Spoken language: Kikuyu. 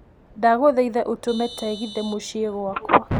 ndagũthaitha utũme tegithi mũciĩ gwakwa